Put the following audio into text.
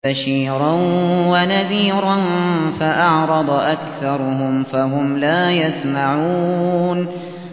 بَشِيرًا وَنَذِيرًا فَأَعْرَضَ أَكْثَرُهُمْ فَهُمْ لَا يَسْمَعُونَ